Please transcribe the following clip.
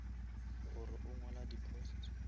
gore o ngwala di posts